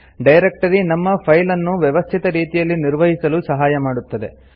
directory ನಮ್ಮ file ಅನ್ನು ವ್ಯವಸ್ಥಿತ ರೀತಿಯಲ್ಲಿ ನಿರ್ವಹಿಸಲು ಸಹಾಯ ಮಾಡುತ್ತದೆ